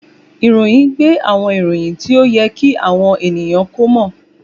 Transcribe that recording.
Ìròyìn gbé àwọn ìròyìn tí ó yẹ kí àwọn ènìyàn kí ó mọ̀